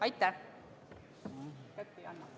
Aitäh!